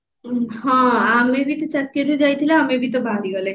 ହଁ ଆମେ ବି ତ ଚାକିରୀ ଯାଇଥିଲେ ଆମେ ବି ତ ବାହାରି ଗଲେ